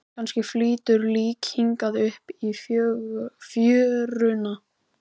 Kannski flýtur lík hingað upp í fjöruna.